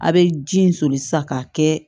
A' bɛ ji in soli sisan k'a kɛ